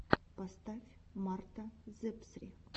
поставь марта зэпсри